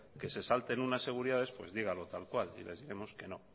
que se salten unas seguridades dígalo tal cual y les diremos que no